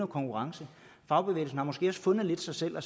konkurrence fagbevægelsen har måske også lidt fundet sig selv og